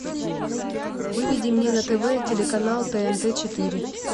выведи мне на тв телеканал тнт четыре